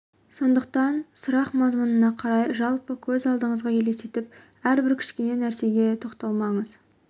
сондықтан сұрақ мазмұнына қарай жалпы көз алдыңызға елестетіп әр-бір кішкене нәрсеге тоқталмаңыз